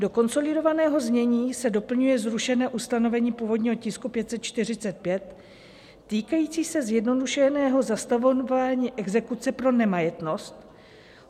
Do konsolidovaného znění se doplňuje zrušené ustanovení původního tisku 545, týkající se zjednodušeného zastavování exekuce pro nemajetnost.